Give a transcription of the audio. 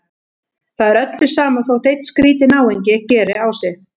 Það er öllum sama þótt einn skrýtinn náungi geri á sig.